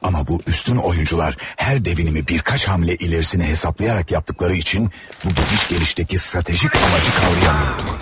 Amma bu üstün oyuncular hər dəvvinimi bir kaç hamle irərisini hesablayaaraq yapdıqları üçün bu gidiş gəlişdəki stratejiq amacı qavramıyorduk.